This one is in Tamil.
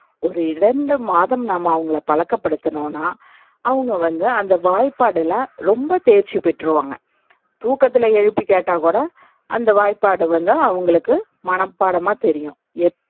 ஒரு இரண்டு மாதம் நாம்ம அவங்கள பழக்கப்படுத்துனோம்னா அவங்க வந்து அந்த வாய்ப்பாடுல ரொம்ப தேர்ச்சி பெற்றுவாங்க. தூக்கத்துல எழுப்பி கேட்டாக்கூட அந்த வாய்ப்பாடு வந்து அவங்களுக்கு மனப்பாடமா தெரியும்.